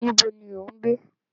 Níbo ni ò ń gbé?